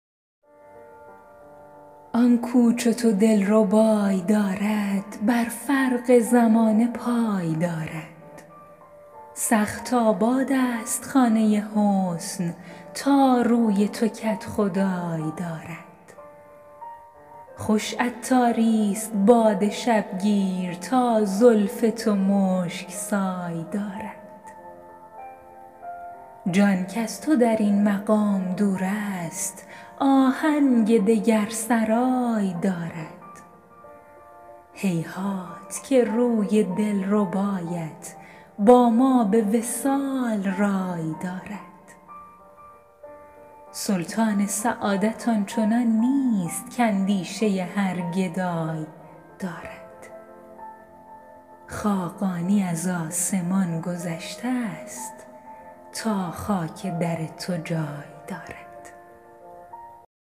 آن کو چو تو دلربای دارد بر فرق زمانه پای دارد سخت آباد است خانه حسن تا روی تو کدخدای دارد خوش عطاری است باد شب گیر تا زلف تو مشک سای دارد جان کز تو در این مقام دور است آهنگ دگر سرای دارد هیهات که روی دل ربایت با ما به وصال رای دارد سلطان سعادت آنچنان نیست که اندیشه هر گدای دارد خاقانی از آسمان گذشته است تا خاک در تو جای دارد